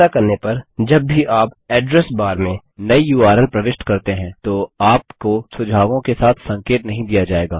ऐसा करने पर जब भी आप एड्रेस बार में नयी उर्ल प्रविष्ट करते हैं तो आपको सुझावों के साथ संकेत नहीं दिया जायेगा